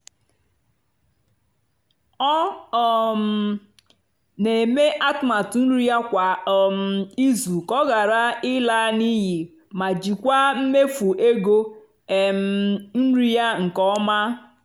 ọ́ um nà-èmè àtụ́matụ́ nrì yá kwá um ìzù kà ọ́ ghàrà ị́là n'íyì mà jìkwáà mméfú égó um nrì yá nkè ọ́má.